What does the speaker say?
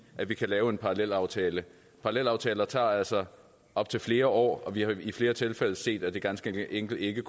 at vi kan lave en parallelaftale parallelaftaler tager altså op til flere år at lave og vi har i flere tilfælde set at det ganske enkelt ikke